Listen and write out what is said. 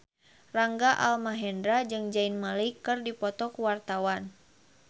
Rangga Almahendra jeung Zayn Malik keur dipoto ku wartawan